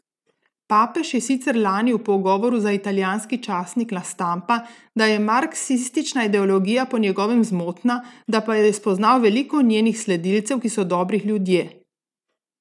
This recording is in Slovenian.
Papež je sicer lani v pogovoru za italijanski časnik La Stampa, da je marksistična ideologija po njegovem zmotna, da pa je spoznal veliko njenih sledilcev, ki so dobri ljudje.